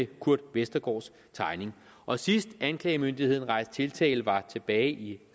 kurt westergaards tegning og sidst anklagemyndigheden rejste tiltale var tilbage i